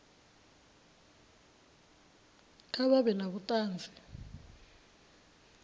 kha vha vhe na vhuṱanzi